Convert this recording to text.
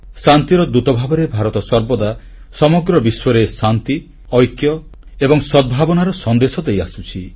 ଶାନ୍ତି ଦୂତ ଭାବରେ ଭାରତ ସର୍ବଦା ସମଗ୍ର ବିଶ୍ୱରେ ଶାନ୍ତି ଐକ୍ୟ ଓ ସଦ୍ଭାବନାର ସନ୍ଦେଶ ଦେଇଆସୁଛି